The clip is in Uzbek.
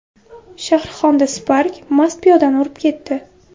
Shahrixonda Spark mast piyodani urib ketdi.